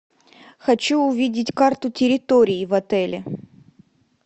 хочу увидеть карту территории в отеле